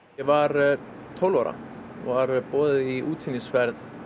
var tólf ára og var boðið í útsýnisflug